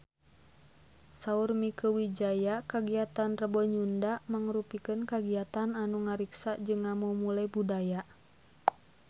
Saur Mieke Wijaya kagiatan Rebo Nyunda mangrupikeun kagiatan anu ngariksa jeung ngamumule budaya Sunda